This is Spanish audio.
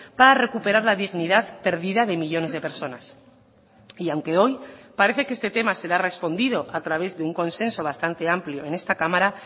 para recuperar la dignidad perdida de millónes de personas y aunque hoy parece que este tema se le ha respondido a través de un consenso bastante amplio en esta cámara